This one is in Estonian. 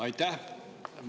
Aitäh!